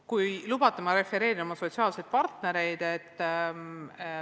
Kui lubate, siis ma refereerin oma sotsiaalseid partnereid.